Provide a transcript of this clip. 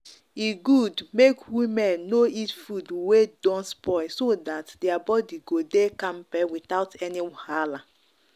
e good make women no eat food wey don spoil so that their body go dey kampe without any wahala.